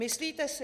Myslíte si..."